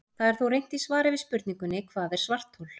Það er þó reynt í svari við spurningunni Hvað er svarthol?